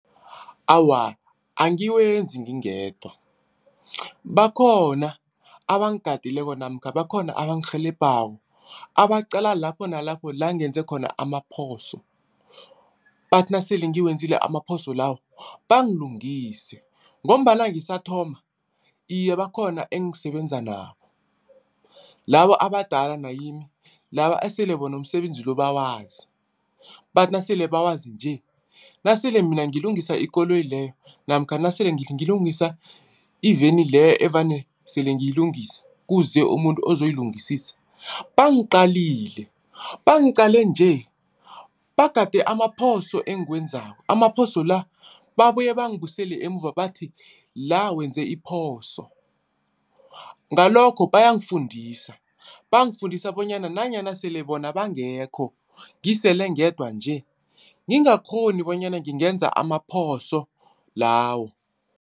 Awa, angiwenzi ngingedwa bakhona abangigadileko namkha bakhona abangirhelebhako abaqala lapho nalapho la ngenze khona amaphoso. Bathi nasele ngizenzile amaphoso lawo bangilungise ngombana ngisathoma. Iye, bakhona engisebenza nabo, labo abadala nakimi laba esele bona umsebenzi lo bawazi. Bathi nasele bawazi nje, nasele mina ngilungisa ikoloyi leyo namkha nasele ngilungisa iveni leyo evane sele ngiyilungisa, kuze umuntu ozoyilungisisa. Bangiqalile, bangiqale nje bagade amaphoso engizenzako. Amaphoso lezo babuye bangibusele emuva bathi la wenze iphoso. Ngalokho bayangifundisa, bangafundisa bonyana nanyana sele bona bangekho ngisele ngedwa nje ngingakghoni bonyana ngenze amaphoso lawo.